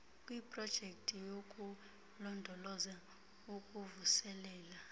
kwiprojekthi yokulondoloza ukuvuselela